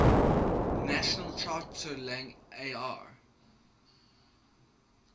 national charter lang ar